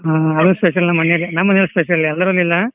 ಹಾ ಅದ special ನಮ್ ಮನೇಲಿ, ನಮ್ಮನೇಲಿ special ಎದ್ರಲ್ಲಿ ಇಲ್ಲಾ.